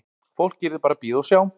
Fólk yrði bara að bíða og sjá.